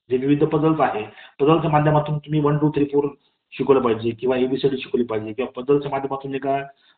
जे काही पझ्झल्स आहेत , पझ्झल्स च्या माध्यमातून तुम्ही वन, टू ,थ्री शिकवलं पाहिजे किंवा ए बी सि डी शिकवलं पाहिजे . किंवा पझ्झल्सच्या माध्यमातून